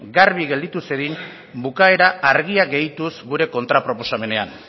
garbi gelditu zedin bukaera argia gehituz gure kontraproposamenean